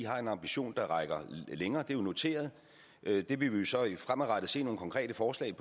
har en ambition der rækker længere det er noteret det vil vi jo så fremadrettet se nogle konkrete forslag